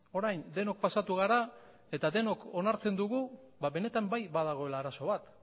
orain denok pasatu gara eta denok onartzen dugu ba benetan bai badagoela arazo bat